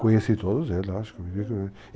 Conheci todos eles,